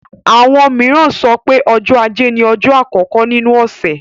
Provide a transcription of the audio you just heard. Àwọn mìíràn sọ pé ọjọ́ ajé ni ọjọ́ àkọ́kọ́ nínú ọ̀sẹ̀.